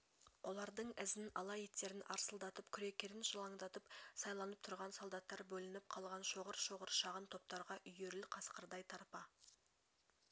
олардың ізін ала иттерін арсылдатып күрекерін жалаңдатып сайланып тұрған солдаттар бөлініп қалған шоғыр-шоғыр шағын топтарға үйіріл қасқырдай тарпа